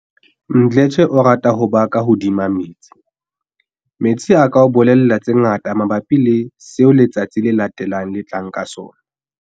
Mdletshe o rata ho ba ka hodima metsi. "Metsi a ka o bolella tse ngata mabapi le seo letsatsi le latelang le tlang ka tsona."